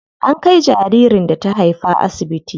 An kai jaririn da ta haifa asibiti.